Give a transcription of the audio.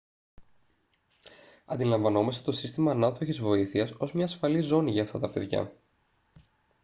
αντιλαμβανόμαστε το σύστημα ανάδοχης βοήθειας ως μια ασφαλή ζώνη για αυτά τα παιδιά